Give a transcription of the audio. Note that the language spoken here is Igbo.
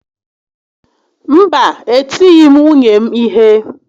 Mba e tighi m nwunye m ihe